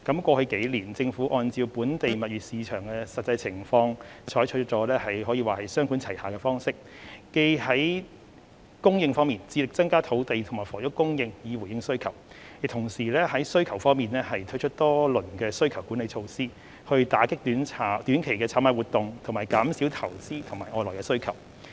過去數年，政府按照本地物業市場的實際情況，採取雙管齊下的方式，既在供應方面致力增加土地及房屋供應以回應需求，亦同時在需求方面推出多輪需求管理措施，以打擊短期炒賣活動及減少投資和外來需求。